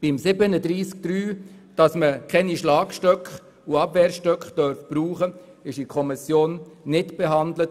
Der Antrag zu Artikel 37 Absatz 3, wonach keine Schlag- und Abwehrstöcke gebraucht werden dürfen, wurde in der Kommission nicht behandelt.